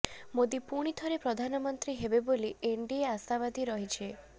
ମୋଦି ପୁଣି ଥରେ ପ୍ରଧାନମନ୍ତ୍ରୀ ହେବେ ବୋଲି ଏନଡିଏ ଆଶାବାଦୀ ରହିଛି